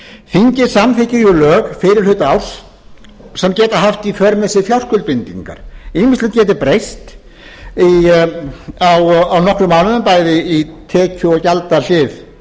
þingið samþykkir lög fyrri hluta árs sem geta haft í för með sér fjárskuldbindingar á sama ári ýmsar forsendur geta einnig breyst á nokkrum mánuðum bæði í tekju og gjaldahlið